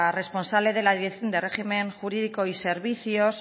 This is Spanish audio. responsable de la dirección de régimen jurídico y servicios